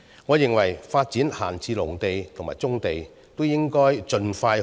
我認為，發展閒置農地和棕地，都應該要盡快進行。